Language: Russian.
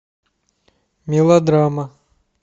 мелодрама